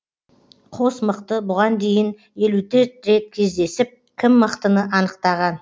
қос мықты бұған дейін елу төрт рет кездесіп кім мықтыны анықтаған